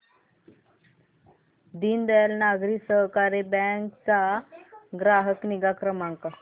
Deendayal Nagari Sahakari bank चा ग्राहक निगा क्रमांक